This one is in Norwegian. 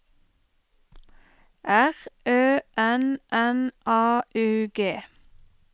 R Ø N N A U G